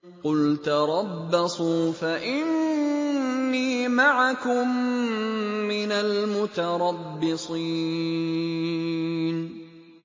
قُلْ تَرَبَّصُوا فَإِنِّي مَعَكُم مِّنَ الْمُتَرَبِّصِينَ